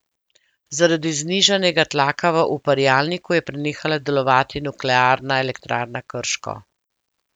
Zaradi znižanega tlaka v uparjalniku je prenehala delovati Nuklearna elektrarna Krško.